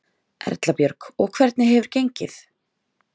Erla Björg: Og hvernig hefur gengið?